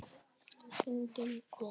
Enginn kom.